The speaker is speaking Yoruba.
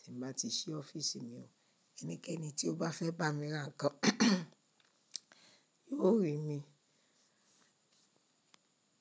tí màá ti ṣí ọ́fíìsì mi òun, ẹnikẹ́ni tí ó bá fẹ́ bá mi ra nǹkan yóò rí mi.